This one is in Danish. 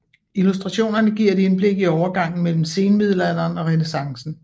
Illustrationerne giver et indblik i overgangen mellem senmiddelalderen og renæssancen